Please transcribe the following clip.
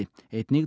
einnig